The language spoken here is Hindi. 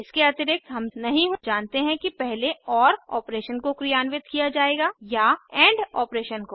इसके अतिरिक्त हम नहीं जानते हैं कि पहले ओर ऑपरेशन को क्रियान्वित किया जाएगा या एंड ऑपरेशन को